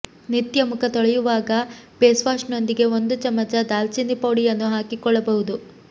ನಿತ್ಯ ಮುಖ ತೊಳೆಯುವಾಗ ಫೇಸ್ವಾಶ್ನೊಂದಿಗೆ ಒಂದು ಚಮಚ ದಾಲ್ಚಿನ್ನಿ ಪುಡಿಯನ್ನು ಹಾಕಿಕೊಳ್ಳಬಹುದು